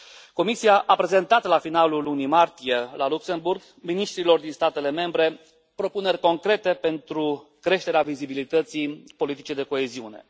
Comisia a prezentat la finalul lunii martie la Luxemburg miniștrilor din statele membre propuneri concrete pentru creșterea vizibilității politicii de coeziune.